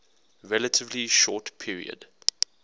relatively short period